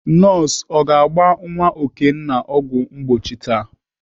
Nọọsụ ọ ga-agba nwa Okenna ọgwụ mgbochi taa?